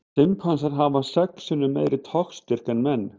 Simpansar hafa sex sinnum meiri togstyrk en menn.